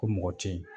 Ko mɔgɔ tɛ ye